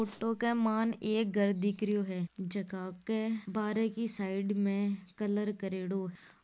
ई photo के मायने एक घर दिख रहियो है जहा के बारे की साइड में कलर करेडो --